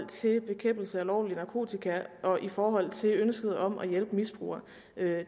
til bekæmpelse af ulovlig narkotika og i forhold til ønsket om at hjælpe misbrugere